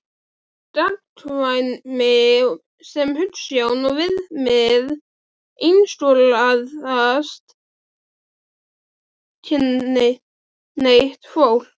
Gagnkvæmni sem hugsjón og viðmið einskorðast ekki við gagnkynhneigt fólk.